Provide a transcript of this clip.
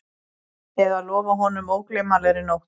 Eða lofað honum ógleymanlegri nótt